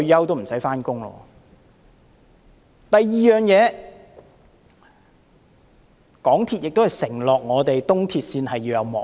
第二，港鐵公司亦曾承諾東鐵線會安裝幕門。